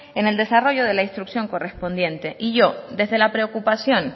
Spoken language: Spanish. en el desarrollo de la instrucción correspondiente y yo desde la preocupación